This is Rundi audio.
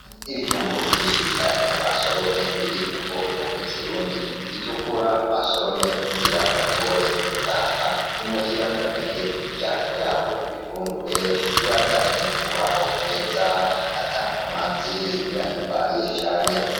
Ibijumbu vyinshi cane basoromye biri mu bwoko bw'ikirundi bitukura basoromye kugira bashobore kubitahana imuhira babihe imiryango yabo ibifungure ibandanye kubaho neza ata nkomanzi birahimbaye cane.